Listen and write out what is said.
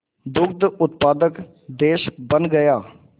दुग्ध उत्पादक देश बन गया